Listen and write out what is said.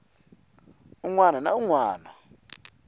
wun wana na wun wana